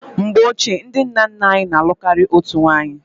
Mgbe ochie, ndị nna nna anyị na-alụ karịa otu nwunye.